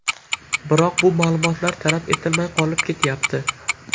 Biroq bu ma’lumotlar talab etilmay qolib ketyapti.